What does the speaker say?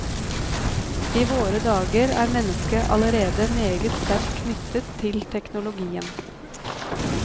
I våre dager er mennesket allerede meget sterkt knyttet til teknologien.